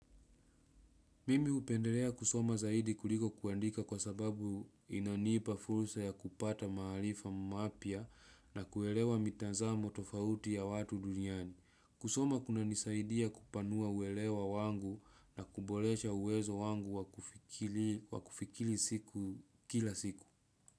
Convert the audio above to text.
Mimi upendelea kusoma zaidi kuliko kuandika kwa sababu inanipa fulsa ya kupata mahalifa mapia na kuelewa mitazamo tofauti ya watu duniani. Kusoma kuna nisaidia kupanua uelewa wangu na kubolecha uwezo wangu wakufikili kila siku.